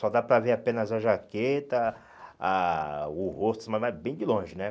Só dá para ver apenas a jaqueta, a o rosto em cima, mas bem de longe, né?